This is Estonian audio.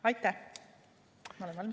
Aitäh!